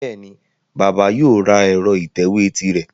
Bẹ́ẹ̀ni, bàbà yóò ra ẹ̀rọ ìtẹ̀wé tirẹ̀